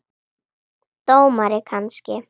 Dómari kannski?